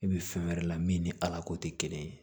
E bi fɛn wɛrɛ la min ni ala ko te kelen ye